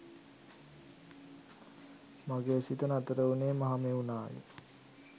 මගේ සිත නතර උනේ මහමෙව්නාවේ